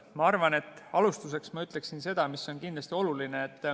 Ma arvan, et alustuseks ma ütleksin seda, mis on kindlasti oluline.